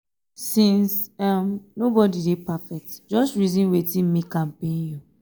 since um nobodi dey perfect jus um reason wetin mek um am pain yu